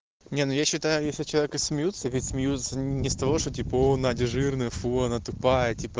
не ну я считаю если над человеком смеются ведь смеются не с того что типа оо надя жирная фу она тупая типа